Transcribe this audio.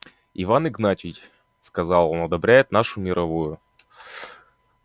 иван игнатьич сказал он одобряет нашу мировую